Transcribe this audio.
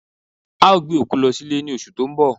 A o gbe òkú lo̩ si abúlé ni oṣù to n bọ̀